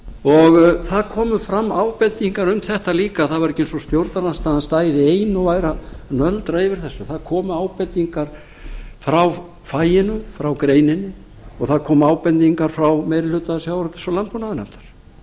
og það komu fram ábendingar um þetta líka það var ekki eins og stjórnarandstaðan stæði ein og væri að nöldra yfir þessu það komu ábendingar frá faginu frá greininni og það komu ábendingar frá meiri hluta sjávarútvegs og landbúnaðarnefndar